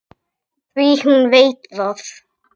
Því hún veit það.